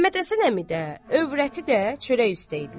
Məmmədhəsən əmi də, övrəti də çörək üstdə idilər.